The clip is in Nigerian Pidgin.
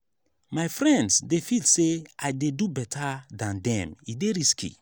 my friends dey feel say i dey do beta dan dem e dey risky.